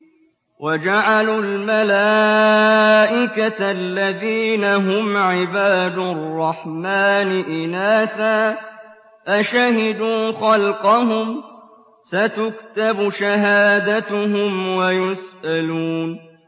وَجَعَلُوا الْمَلَائِكَةَ الَّذِينَ هُمْ عِبَادُ الرَّحْمَٰنِ إِنَاثًا ۚ أَشَهِدُوا خَلْقَهُمْ ۚ سَتُكْتَبُ شَهَادَتُهُمْ وَيُسْأَلُونَ